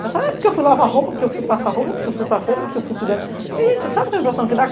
Pensa, porque eu fui lavar roupa, porque eu fui passar roupa, porque eu fui para a feira, porque eu fui cuidar... Sabe a impressão que dá?